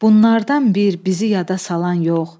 Bunlardan bir bizi yada salan yox.